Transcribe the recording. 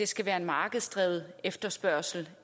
skal være en markedsdrevet efterspørgsel